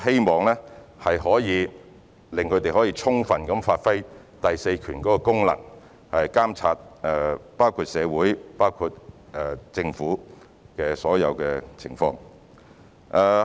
我們希望能讓新聞從業員充分發揮第四權的功能，監察社會和政府的所有情況。